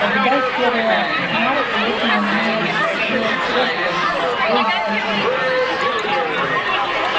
тогда серая хмарь плотно надвинулась и закрыла все солнце с его живительными лучами